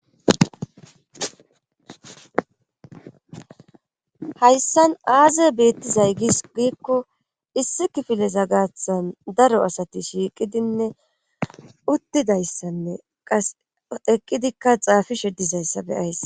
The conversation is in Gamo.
Hayssan aazi beettizay gis giikko issi kifileza gaathan daro asati shiiqidinne uttidayssanne qas eqqidikka xaafishe dizayssabe ayss.